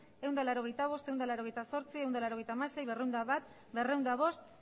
ehun eta laurogeita bost ehun eta laurogeita zortzi ehun eta laurogeita hamasei berrehun eta bat berrehun eta bost